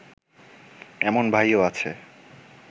এমন ভাইও আছে